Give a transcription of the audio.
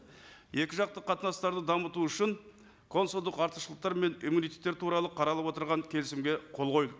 екі жақты қатынастарды дамыту үшін консулдық артықшылықтар мен иммунитеттер туралы қаралып отырған келісімге қол қойып